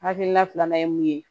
Hakilina filanan ye mun ye